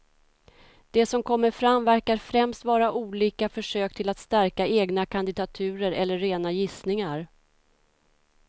Det som kommer fram verkar främst vara olika försök till att stärka egna kandidaturer eller rena gissningar.